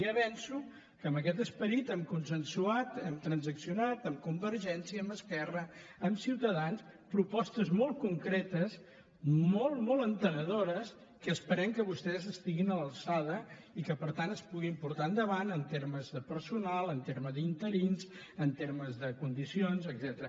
ja avanço que amb aquest esperit hem consensuat hem transaccionat amb convergència amb esquerra amb ciutadans propostes molt concretes molt molt entenedores en què esperem que vostès estiguin a l’alçada i que per tant es puguin portar enda vant en termes de personal en termes d’interins en termes de condicions etcètera